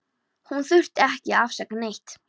Hún þurfti ekki að afsaka neitt.